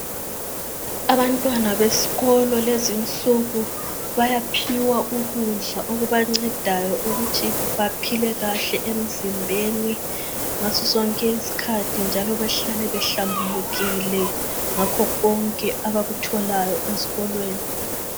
Abantwana besikolo lezinsuku bayaphiwa ukudla okubancedayo ukuthi baphile kahle emzimbeni ngasosonke isikhathi njalo behlale behlambulukile ngakho konke abakutholayo esikolweni.